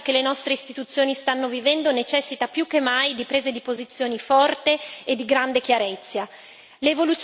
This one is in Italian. Il momento cruciale che le nostre istituzioni stanno vivendo necessita più che mai, di prese di posizioni forte e di grande chiarezza.